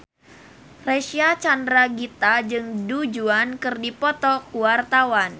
Reysa Chandragitta jeung Du Juan keur dipoto ku wartawan